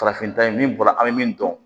Farafin ta ye min bɔra an bɛ min dɔn